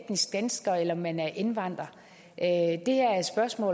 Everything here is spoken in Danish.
etnisk dansker eller man er indvandrer